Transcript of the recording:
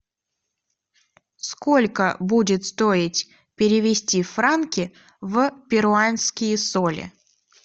сколько будет стоить перевести франки в перуанские соли